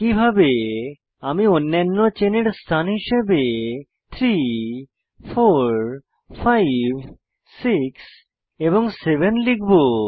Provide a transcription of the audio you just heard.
একইভাবে আমি অন্যান্য চেনের স্থান হিসাবে 3 4 5 6 এবং 7 লিখব